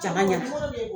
Ja ma ɲa